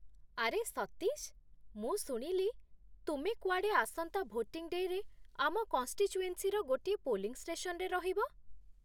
ଆରେ ସତୀଶ, ମୁଁ ଶୁଣିଲି ତୁମେ କୁଆଡ଼େ ଆସନ୍ତା ଭୋଟିଂ ଡେ'ରେ ଆମ କନ୍‌ଷ୍ଟିଚୁଏନ୍ସିର ଗୋଟିଏ ପୋଲିଂ ଷ୍ଟେସନରେ ରହିବ ।